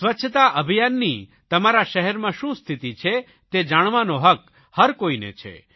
સ્વચ્છતા અભિયાનની તમારા શહેરમાં શું સ્થિતિ છે તે જાણવાનો હક્ક હર કોઇને છે